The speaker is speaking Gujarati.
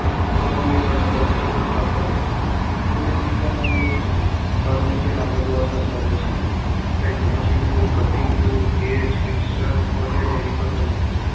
Economy પર અસર કરતા પરિબળો પદો tooling economy પર નીચેના પદો અસર કરે છે. પહેલું machine tool cutting tool gauge picture વગેરેની પસંદગી